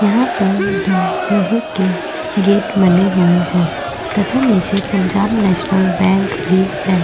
यहाँ पर दो लोहे के गेट बने हुये हैं तथा निचे पंजाब नेशनल बैंक भी है।